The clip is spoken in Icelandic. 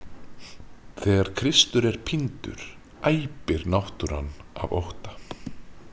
Þegar Kristur er píndur æpir náttúran af ótta